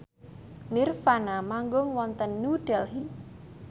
nirvana manggung wonten New Delhi